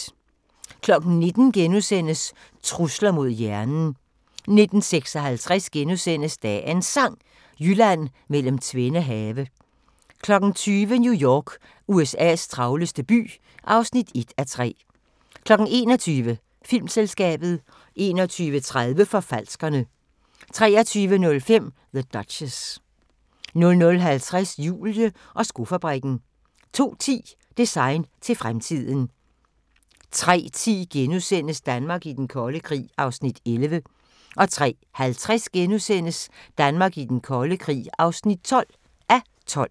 19:00: Trusler mod hjernen * 19:56: Dagens Sang: Jylland mellem tvende have * 20:00: New York – USA's travleste by (1:3) 21:00: Filmselskabet 21:30: Forfalskerne 23:05: The Duchess 00:50: Julie og skofabrikken 02:10: Design til fremtiden 03:10: Danmark i den kolde krig (11:12)* 03:50: Danmark i den kolde krig (12:12)*